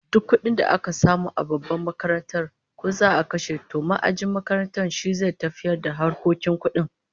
Duk kudin da za'a samu a babbar makarantar, ko za'a kashe, to ma'ajin makaranta shi zai tafiyar da harkokin kudin